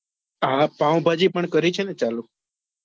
હા પાવભાજી પણ કરી છે ને ચાલુ